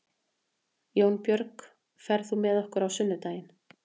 Jónbjörg, ferð þú með okkur á sunnudaginn?